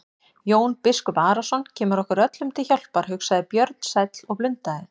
Jón biskup Arason kemur okkur öllum til hjálpar, hugsaði Björn sæll og blundaði.